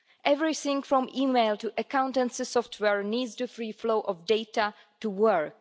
Everything from email to accountancy software needs the free flow of data to work.